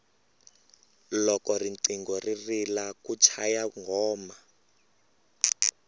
loko riqingho ri rila ku chaya nghoma